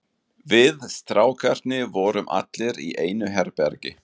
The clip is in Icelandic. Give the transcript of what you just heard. Við strákarnir vorum allir í einu herbergi.